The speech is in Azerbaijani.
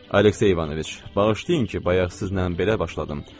Aleksey İvanoviç, bağışlayın ki, bayaq sizlə belə başladım.